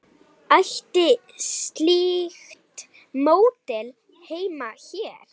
Ætti slíkt módel heima hér?